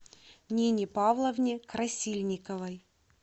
нине павловне красильниковой